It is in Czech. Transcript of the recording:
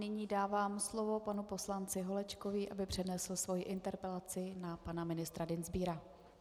Nyní dávám slovo panu poslanci Holečkovi, aby přednesl svoji interpelaci na pana ministra Dienstbiera.